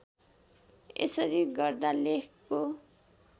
यसरी गर्दा लेखको